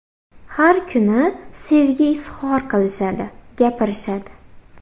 Har kuni sevgi izhor qilishadi, gapirishadi.